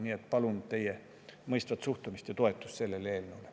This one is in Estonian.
Seega palun teie mõistvat suhtumist ja toetust sellele eelnõule.